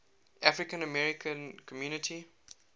african american community